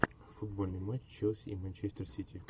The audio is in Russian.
футбольный матч челси и манчестер сити